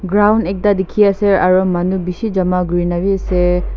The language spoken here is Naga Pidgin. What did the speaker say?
Ground ekta dekhi ase aru manu bisi jama kori na bhi ase.